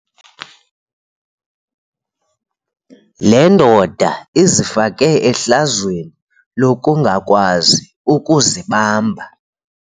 Le ndoda izifake ehlazweni lokungakwazi ukuzibamba.